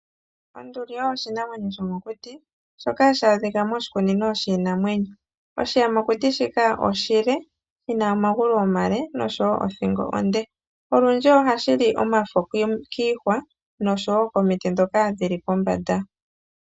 Onduli oyo oshinamwenyo shomokuti, shoka hashi adhika moshikunino shiinamwenyo. Oshiyamakuti shika oshile, shi na omagulu omale, nosho wo othingo onde. Olundji ohashi li omafo kiihwa, nosho wo komiti ndhoka dhi li pombanda.